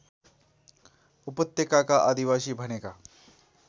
उपत्यकाका आदिवासी भनेका